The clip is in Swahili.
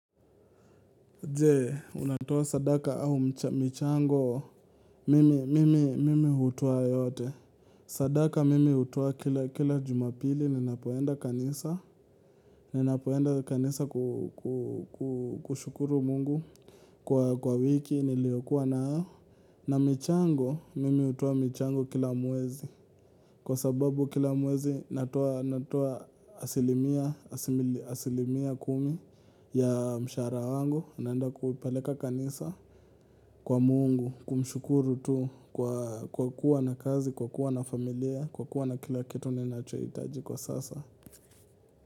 Jee, unatoa sadaka au michango, mimi hutoa yote. Sadaka mimi hutoa kila jumapili, ninapoenda kanisa. Ninapoenda kanisa kushukuru Mungu kwa wiki, niliokuwa nayo. Na michango, mimi hutoa michango kila mwezi. Kwa sababu kila mwezi, natoa asilimia kumi ya mshahara wangu. Naenda kupeleka kanisa kwa Mungu, kumshukuru tu kwa kuwa na kazi, kwa kuwa na familia, kwa kuwa na kila kitu ninachohitaji kwa sasa.